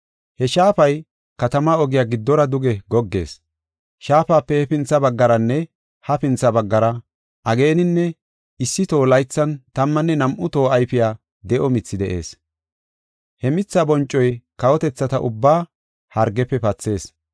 He shaafay katama ogiya giddora duge goggees. Shaafape hefintha baggaranne hafintha baggara ageenan issi toho; laythan tammanne nam7u toho ayfiya de7o mithi de7ees. He mitha boncoy kawotethata ubbaa hargefe pathees.